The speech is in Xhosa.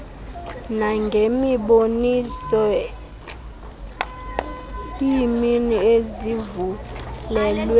nangemiboniso iimini ezivulelwe